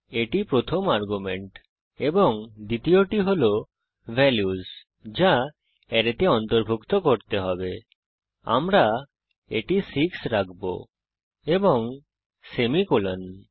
এটি প্রথম আর্গুমেন্ট এবং দ্বিতীয়টি হল ভ্যালুস যা অ্যারেতে অন্তর্ভুক্ত হতে হবে আমরা এটি 6 রাখব এবং সেমিকোলন